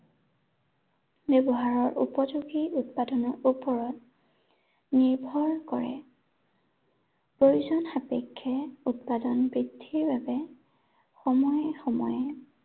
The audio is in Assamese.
ব্য়ৱহাৰৰ উপযোগী উৎপাদনৰ ওপৰত নিৰ্ভৰ কৰে। প্ৰয়োজন সাপেক্ষে উৎপাদন বৃদ্ধিৰ বাবে, সময়ে সময়ে